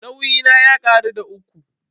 Nauyi na ya karu da uku.